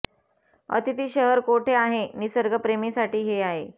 अतिथी शहर कोठे आहे निसर्ग प्रेमी साठी हे आहे